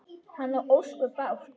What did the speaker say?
Hann á ósköp bágt.